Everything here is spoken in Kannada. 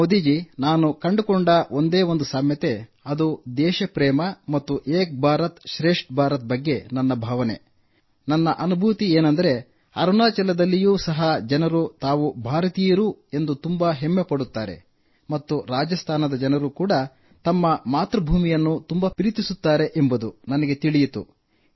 ಮೋದಿ ಜೀ ನಾನು ಕಂಡುಕೊಂಡ ಒಂದೇ ಒಂದು ಸಾಮ್ಯತೆ ಎಂದರೆ ಅದು ದೇಶ ಪ್ರೇಮ ಮತ್ತು ಏಕ್ ಭಾರತ್ ಶ್ರೇಷ್ಠ ಭಾರತ್ ಬಗ್ಗೆ ನನ್ನ ಭಾವನೆ ನನ್ನ ಅನುಭೂತಿ ಏಕೆಂದರೆ ಅರುಣಾಚಲದಲ್ಲಿಯೂ ಸಹ ಜನರು ತಾವು ಭಾರತೀಯರು ಎಂದು ತುಂಬಾ ಹೆಮ್ಮೆಪಡುತ್ತಾರೆ ಮತ್ತು ರಾಜಸ್ಥಾನದ ಜನರು ತಮ್ಮ ಮಾತೃಭೂಮಿಯನ್ನು ತುಂಬಾ ಪ್ರೀತಿಸುತ್ತಾರೆ ಎಂಬುದು ನನಗೆ ತಿಳಿಯಿತು